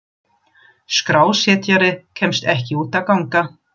Skrásetjari kemst ekki út að ganga.